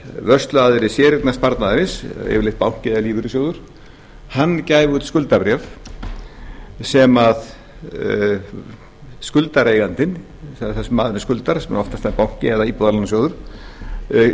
vörsluaðili séreignarsparnaðarins yfirleitt banki eða lífeyrissjóður gæfi út skuldabréf sem skuldareigandinn það er þeim sem maðurinn skuldar sem oftast er banki eða íbúðalánasjóður keypti